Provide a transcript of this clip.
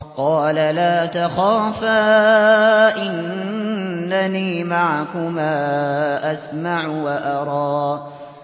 قَالَ لَا تَخَافَا ۖ إِنَّنِي مَعَكُمَا أَسْمَعُ وَأَرَىٰ